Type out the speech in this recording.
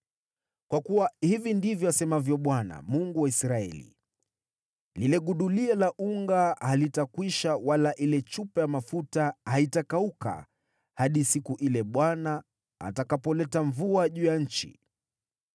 Kwa kuwa hivi ndivyo asemavyo Bwana , Mungu wa Israeli: ‘Lile gudulia la unga halitakwisha wala ile chupa ya mafuta haitakauka hadi siku ile Bwana atakapoleta mvua juu ya nchi.’ ”